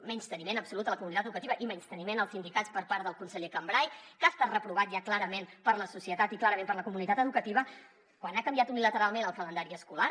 menysteniment absolut a la comunitat educativa i menysteniment als sindicats per part del conseller cambray que ha estat reprovat ja clarament per la societat i clarament per la comunitat educativa quan ha canviat unilateralment el calendari escolar